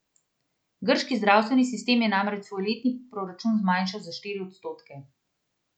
Grški zdravstveni sistem je namreč svoj letni proračun zmanjšal za štiri odstotke.